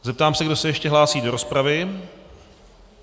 Zeptám se, kdo se ještě hlásí do rozpravy.